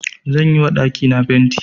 Zan yi ma ɗakina fenti.